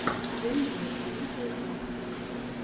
тэйо зе литтл бас